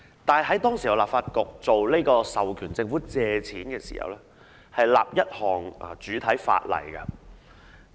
然而，當時立法局在授權政府借款時，會訂立主體法例。